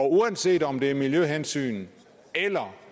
uanset om det er miljøhensyn eller